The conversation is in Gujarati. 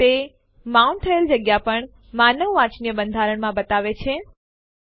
ચાલો લખીએ આરએમ અને ડિરેક્ટરી જે આપણે રદ કરવા ઈચ્છીએ છીએ જે છે ટેસ્ટડિર અને Enter દબાવો